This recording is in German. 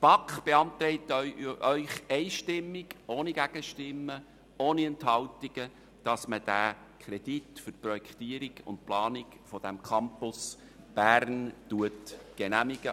Die BaK beantragt Ihnen einstimmig ohne Gegenstimmen oder Enthaltungen, den Kredit zur Projektierung und Planung des Campus Bern zu genehmigen.